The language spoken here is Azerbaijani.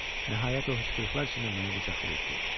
Nəhayət o hıçqırıqlar içində məni qucaqlayıb dedi.